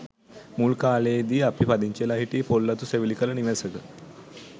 මුල් කාලයේදී අපි පදිංචිවෙලා හිටියේ පොල් අතු සෙවිලි කළ නිවසක.